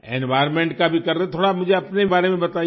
environment का भी कर रहे हैं थोड़ा मुझे अपने बारे में बताइए